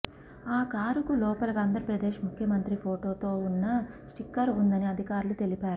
ఆ కారుకు లోపల ఆంధ్రప్రదేశ్ ముఖ్యమంత్రి ఫొటోతో ఉన్న స్టిక్కర్ ఉందని అధికారులు తెలిపారు